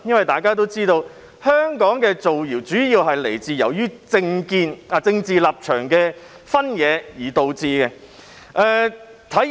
大家都知道，香港的造謠者主要基於政見、政治立場的分野而造謠，體現了......